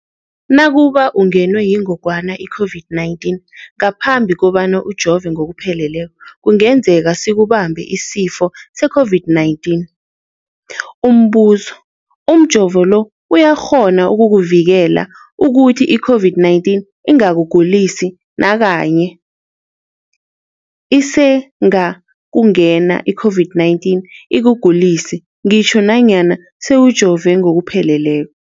Nakube ungenwe yingogwana i-COVID-19 ngaphambi kobana ujove ngokupheleleko, kungenzeka sikubambe isifo se-COVID-19. Umbuzo, umjovo lo uyakghona ukukuvikela ukuthi i-COVID-19 ingakugulisi nakanye? Isengakungena i-COVID-19 ikugulise ngitjho nanyana sewujove ngokupheleleko.